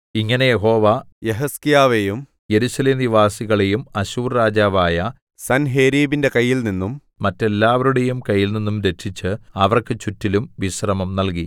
ഇങ്ങനെ യഹോവ യെഹിസ്കീയാവെയും യെരൂശലേം നിവാസികളെയും അശ്ശൂർ രാജാവായ സൻഹേരീബിന്റെ കയ്യിൽനിന്നും മറ്റെല്ലാവരുടെയും കയ്യിൽനിന്നും രക്ഷിച്ച് അവർക്ക് ചുറ്റിലും വിശ്രമം നല്കി